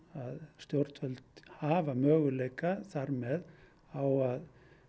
stjórnvöld hafa möguleika þar með á að